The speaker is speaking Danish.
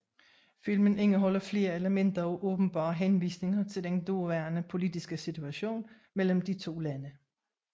Filmen indeholder flere elementer af åbenbare henvisninger til den daværende politiske situation mellem de to lande